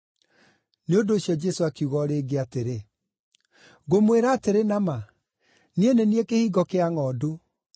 Nĩ ũndũ ũcio Jesũ akiuga o rĩngĩ atĩrĩ, “Ngũmwĩra atĩrĩ na ma, Niĩ nĩ niĩ kĩhingo kĩa ngʼondu.